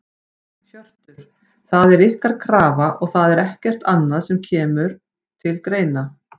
Hjörtur: Það er ykkar krafa og það er ekkert annað sem að kemur til greina?